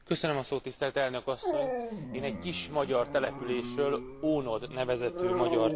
Én egy kis magyar településről, Ónod nevezetű magyar településről szeretnék beszélni.